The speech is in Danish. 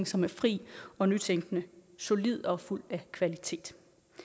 som fri og nytænkende solid og fuld af kvalitet